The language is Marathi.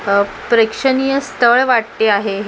अ प्रेक्षणीय स्थळ वाटते आहे हे .